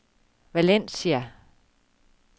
Valencia